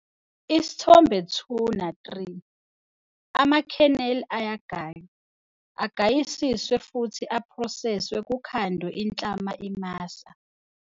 Isithombe 2 na-3- Ama-kernel ayagaywa, agayisiswe futhi aphroseswe kukhandwe inhlama imasa.